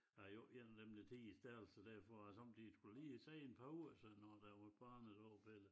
Er jeg jo ikke en af dem der tier stille så derfor har jeg sommetider skal jo lige sige et par ord så når der var et barnedåb eller